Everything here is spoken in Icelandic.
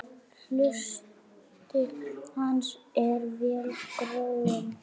Hluti hans er vel gróinn.